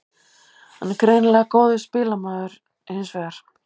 Hann er greinilega ekki góður spilamaður hinsvegar.